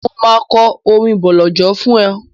Mo máa kọ orin bọ̀lọ̀jọ̀ fún ọ.